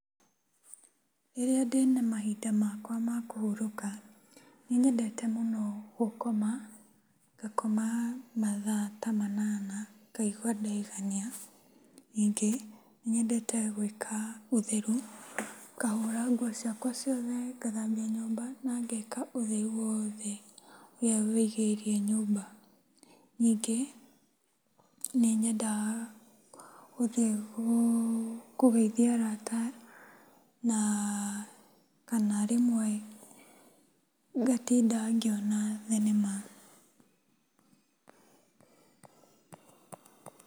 Rĩrĩa ndĩna mahinda makwa ma kũhurũka nĩnyendete mũno gũkoma, ngakoma mathaa ta manana ngaigua ndaigania. Ningĩ nĩnyendete gwĩka ũtheru, ngahũra nguo ciakwa ciothe, ngathambia nyũmba na ngeka ũtheru wothe ũrĩa wĩgiĩire nyũmba. Ningĩ, nĩnyendaga gũthiĩ kũgeithia arata na kana rĩmwe ngatinda ngĩona thenema.